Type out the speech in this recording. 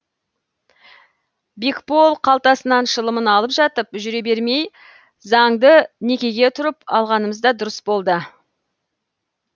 бекбол қалтасынан шылымын алып жатып жүре бермей заңды некеге тұрып алғанымыз да дұрыс болды